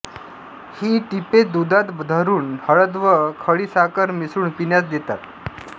ही टिपे दुधात धरून हळद व खडीसाखर मिसळून पिण्यास देतात